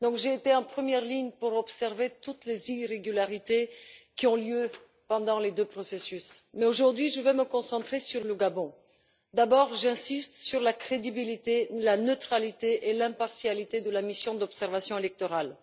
J'étais donc en première ligne pour observer toutes les irrégularités qui se sont produites pendant les deux processus, mais, aujourd'hui, je vais me concentrer sur le Gabon. J'insiste tout d'abord sur la crédibilité, la neutralité et l'impartialité de la mission d'observation électorale.